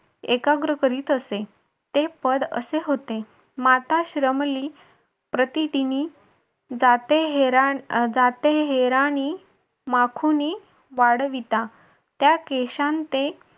एकाग्र करीत असे. ते पद असे होते. माता श्रमली प्रतिदिनी जाते हेरानी माखुनी वाढविता त्या केशांते